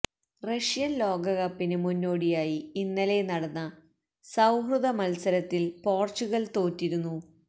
Russian ലോകകപ്പിന് മുന്നോടിയായി ഇന്നലെ നടന്ന സൌഹൃദ മൽസരത്തിൽ പോർച്ചുഗൽ തോറ്റിരുന്നു